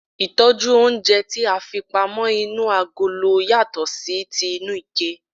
Ìtójú oúnje ti a fi pamó inú agolo yàtò sí ti inú ike